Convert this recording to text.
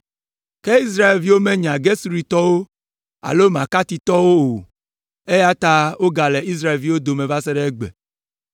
Ke Israelviwo menya Gesuritɔwo alo Makatitɔwo o, eya ta wogale Israelviwo dome va se ɖe egbe.